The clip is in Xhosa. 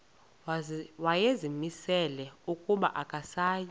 wayezimisele ukuba akasayi